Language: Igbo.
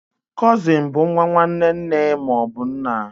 Cụsịn bụ nwa nwanne nne ma ọ bụ nna.